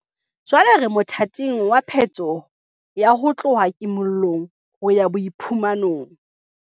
Jwale re mothating wa phetoho ya ho tloha kimo llong ho ya boiphumanong.